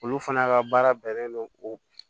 Olu fana ka baara bɛnnen don o